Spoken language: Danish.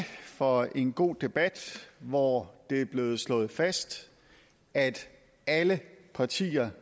for en god debat hvor det er blevet slået fast at alle partier